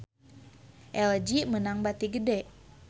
LG meunang bati gede